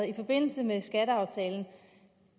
i forbindelse med skatteaftalen